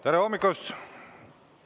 Tere hommikust!